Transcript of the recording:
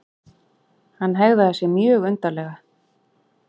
Hann hegðaði sér mjög undarlega.